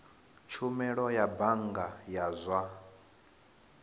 tshumelo ya bannga ya zwa